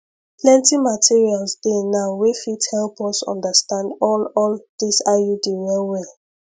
plenty materials dey now wey fit help us understand all all this iud wellwell